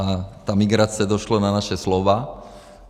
A ta migrace - došlo na naše slova.